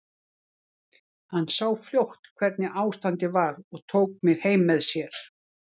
Hann sá fljótt hvernig ástandið var og tók mig heim með sér.